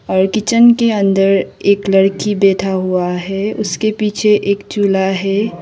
और किचन के अंदर एक लड़की बैठा हुआ है उसके पीछे एक चूल्हा है।